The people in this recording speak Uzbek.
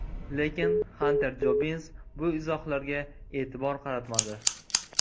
Lekin Xanter Jobbins bu izohlarga e’tibor qaratmadi.